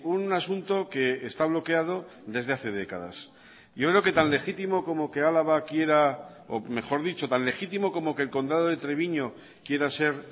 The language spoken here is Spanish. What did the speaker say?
un asunto que está bloqueado desde hace décadas yo creo que tan legítimo como que álava quiera o mejor dicho tan legítimo como que el condado de treviño quiera ser